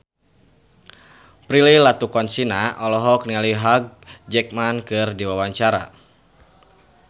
Prilly Latuconsina olohok ningali Hugh Jackman keur diwawancara